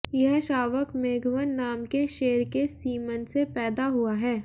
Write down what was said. यह शावक मेघवन नाम के शेर के सीमन से पैदा हुआ है